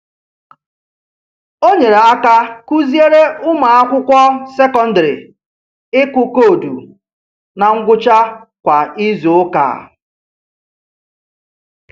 O nyere aka kụziere ụmụakwụkwọ sekondịrị ịkụ koodu na ngwụcha kwa izuụka